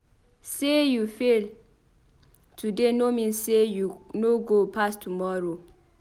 Sey you fail today no mean sey you no go pass tomorrow.